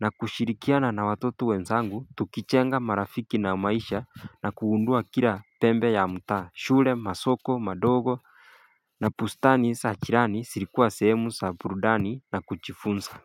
na kushirikiana na watoto wenzangu tukichenga marafiki na maisha na kugundua kila pembe ya mta shule, masoko madogo na bustani za jirani zilikuwa sehemu za burudani na kujifunza.